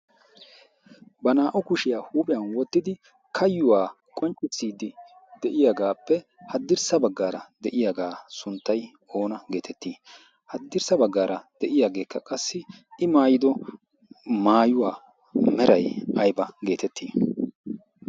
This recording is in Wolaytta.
ba naa''u kushiyaa huuphiyan wottidi kayuwaa qonccissiiddi de'iyaagaappe haddirssa baggaara de'iyaagaa sunttay oona geetettii haddirssa baggaara de'iyaageekka qassi i maayido maayuwaa meray ayba geetettii